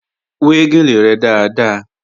Wẹ́ gèlè rẹ dáadáa!